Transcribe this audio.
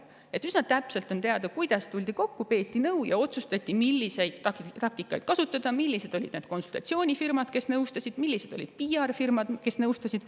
Nii et üsna täpselt on teada see, kuidas tuldi kokku, peeti nõu ja otsustati, milliseid taktikaid kasutada; ning millised olid konsultatsioonifirmad, kes neid nõustasid ja millised olid PR-firmad, kes neid nõustasid.